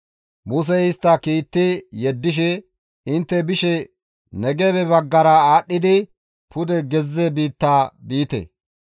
Musey istta kiitti yeddishe, «Intte bishe Negebe baggara aadhdhidi pude gezze biitta biite.